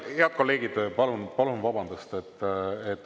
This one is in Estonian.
Head kolleegid, palun vabandust!